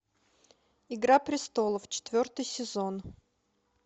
игра престолов четвертый сезон